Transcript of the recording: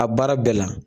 A baara bɛɛ la